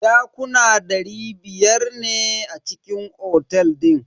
Dakuna dari biyar ne a cikin otel din.